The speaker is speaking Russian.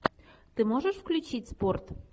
ты можешь включить спорт